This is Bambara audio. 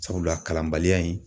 Sabula, a kalanbaliya in